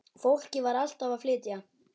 Fólkið var alltaf að flytja.